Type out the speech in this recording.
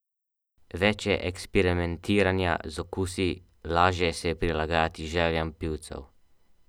Več je eksperimentiranja z okusi, lažje se je prilagajati željam pivcev.